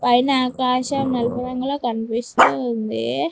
పైన ఆకాశం నలుపు రంగులో కనిపిస్తూ ఉంది.